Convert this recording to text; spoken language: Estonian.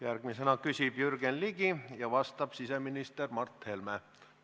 Järgmisena küsib Jürgen Ligi ja vastab siseminister Mart Helme.